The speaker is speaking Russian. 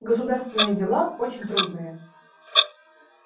государственные дела очень трудные